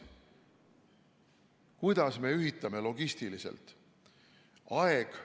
Kuidas me ühitame seal logistiliselt?